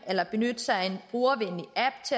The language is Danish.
eller benytte sig